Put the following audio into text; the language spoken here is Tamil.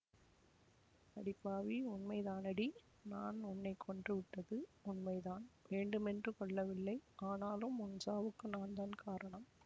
அடி பாவி உண்மைதானடி நான் உன்னை கொன்று விட்டது உண்மைதான் வேண்டுமென்று கொல்லவில்லை ஆனாலும் உன் சாவுக்கு நான்தான் காரணம்